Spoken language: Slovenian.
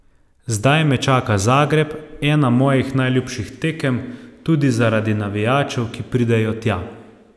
Zdaj me čaka Zagreb, ena mojih najljubših tekem, tudi zaradi navijačev, ki pridejo tja.